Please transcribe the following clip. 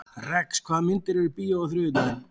Rex, hvaða myndir eru í bíó á þriðjudaginn?